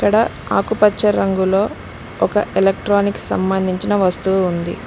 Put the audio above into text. ఇక్కడ ఆకుపచ్చ రంగులో ఒక ఎలక్ట్రానిక్ సంభందించిన వస్తువు ఉంది.